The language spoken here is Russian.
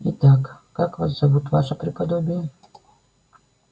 итак как вас зовут ваше преподобие